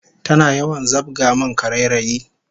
Tana yawan zabga min karairayi